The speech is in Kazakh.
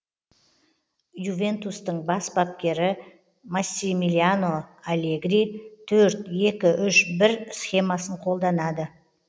ювентустың бас бапкері массимилиано аллегри төрт екі үш бір схемасын қолданады